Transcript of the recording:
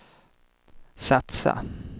satsa